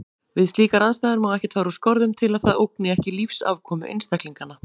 Við slíkar aðstæður má ekkert fara úr skorðum til að það ógni ekki lífsafkomu einstaklinganna.